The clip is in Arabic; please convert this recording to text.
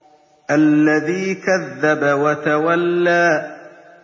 الَّذِي كَذَّبَ وَتَوَلَّىٰ